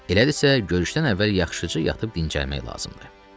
Elədirsə, görüşdən əvvəl yaxşıca yatıb dincəlmək lazımdır.